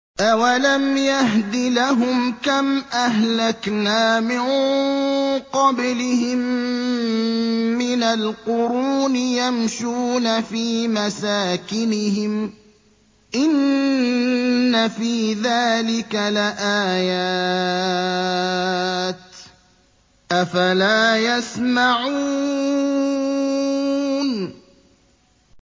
أَوَلَمْ يَهْدِ لَهُمْ كَمْ أَهْلَكْنَا مِن قَبْلِهِم مِّنَ الْقُرُونِ يَمْشُونَ فِي مَسَاكِنِهِمْ ۚ إِنَّ فِي ذَٰلِكَ لَآيَاتٍ ۖ أَفَلَا يَسْمَعُونَ